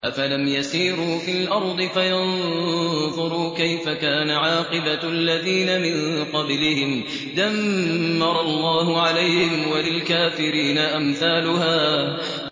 ۞ أَفَلَمْ يَسِيرُوا فِي الْأَرْضِ فَيَنظُرُوا كَيْفَ كَانَ عَاقِبَةُ الَّذِينَ مِن قَبْلِهِمْ ۚ دَمَّرَ اللَّهُ عَلَيْهِمْ ۖ وَلِلْكَافِرِينَ أَمْثَالُهَا